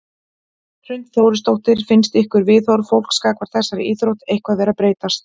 Hrund Þórsdóttir: Finnst ykkur viðhorf fólks gagnvart þessari íþrótt eitthvað vera að breytast?